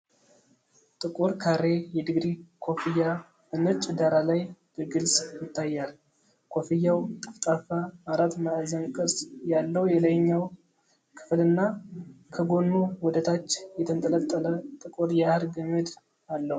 ጥቁር ካሬ የድግሪ ኮፍያ በነጭ ዳራ ላይ በግልጽ ይታያል። ኮፍያው ጠፍጣፋ አራት ማዕዘን ቅርጽ ያለው የላይኛው ክፍልና ከጎኑ ወደ ታች የተንጠለጠለ ጥቁር የሐር ገመድ አለው።